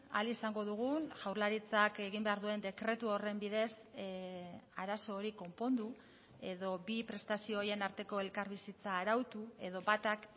ahal izango dugun jaurlaritzak egin behar duen dekretu horren bidez arazo hori konpondu edo bi prestazio horien arteko elkarbizitza arautu edo batak